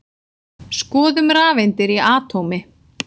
Skoðum rafeindir í atómi.